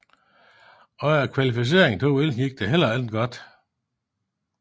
Under kvalificeringen til OL gik det heller ikke godt